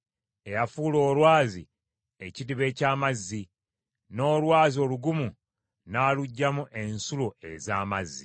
eyafuula olwazi ekidiba eky’amazzi, n’olwazi olugumu n’aluggyamu ensulo ez’amazzi.